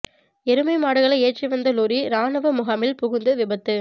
எருமை மாடுகளை ஏற்றி வந்த லொறி இராணுவ முகாமில் புகுந்து விபத்து